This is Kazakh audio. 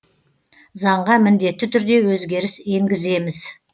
заңға міндетті түрде өзгеріс енгіземіз